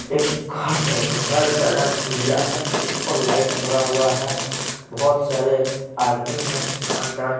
एक घर घर का रंग उजला हैं ऊपर लाइट बडा हुआ हैं बहुत सारे आदमी हैं अंदर--